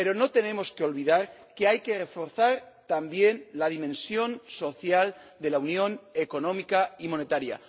Pero no tenemos que olvidar que hay que reforzar también la dimensión social de la unión económica y monetaria.